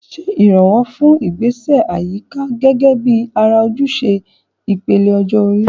Ṣe ìrànwọ́ fún àwọn ìgbésẹ̀ àyíká gẹ́gẹ́ bí ara ojúṣe ìpele ọjọ́ orí.